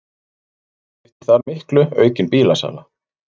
Skiptir þar miklu aukin bílasala